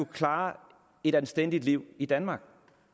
klare et anstændigt liv i danmark